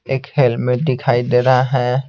एक हेलमेट दिखाई दे रहा है।